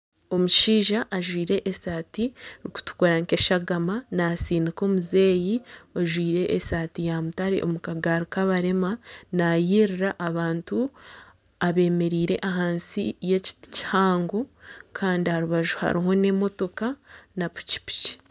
Omushaija ajwaire esaati erikutukura nk'eshagama natsindika omuzeeyi ojwaire esaati ya mutare omu kagaari k'abarema. Nayererera abantu abemereire ahansi y'ekiti kihango kandi aha rubaju hariho n'emotoka na pikipiki.